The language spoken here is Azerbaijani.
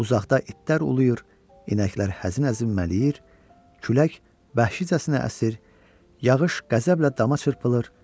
Uzaqda itlər uluyur, inəklər həzin-həzin mələyir, külək vəhşicəsinə əsir, yağış qəzəblə dama çırpılırdı.